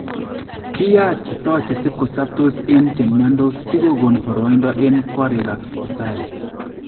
Kiyaatito chesibkosoptos eng chemyandoos si kokon boroindo en koriikab sibitaaliit